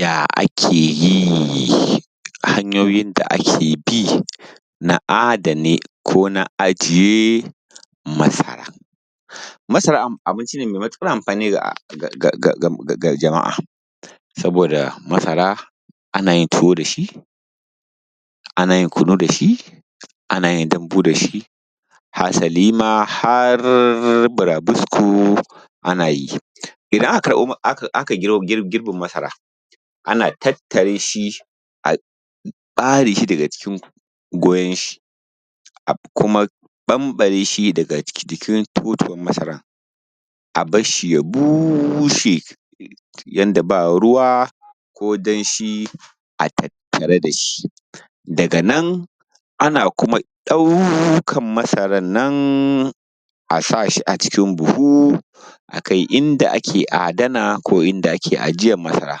Ya ake yi hanyoyin da ake bi na adene ko na aje masara. Masara abinci ne mai matuƙar amfani ga jama’a saboda masara ana yin tuwo dashi ana yin kunu dashi ana yin dambu dashi hasali ma har burabusko ana yi idan aka girbe masara ana tattareshi a ɓare shi daga jikin goyon shi a kuma ɓamɓare shi daga jikin totuwar masarar a barshi ya bushe yanda ba ruwa ko damshi a tattare dashi daga nan ana kuma iya ɗaukan masarar nan a sashi a cikin buhu a kai inda ake adana ko inda ake ajiyar masara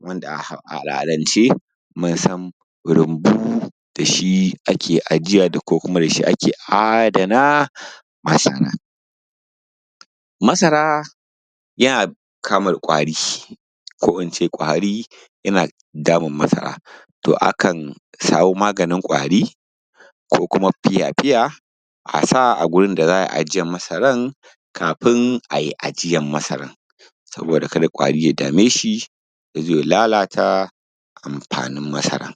wanda a al’adan ce mun san rumbu dashi ake ajiya ko kuma dashi ake adana masara masara yana kamu da ƙwari ko ince ƙwari yana damun masara to akan samu maganin ƙwari ko kuma fiya-fiya a sa a gurin da za a yi ajiyar masarar kafin ayi ajiyar masarar saboda kada ƙwari ya dame shi yazo ya lalata amfanin masara